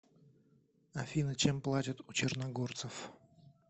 афина чем платят у черногорцев